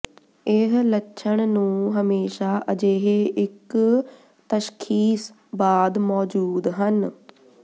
ਇਹ ਲੱਛਣ ਨੂੰ ਹਮੇਸ਼ਾ ਅਜਿਹੇ ਇੱਕ ਤਸ਼ਖੀਸ ਬਾਅਦ ਮੌਜੂਦ ਹਨ